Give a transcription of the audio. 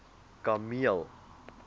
kameel